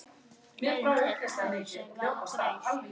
Leiðin til Parísar var greið.